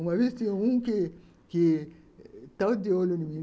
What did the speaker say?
Uma vez, tinha um que que estava de olho em mim.